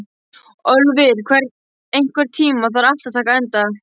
Ölvir, einhvern tímann þarf allt að taka enda.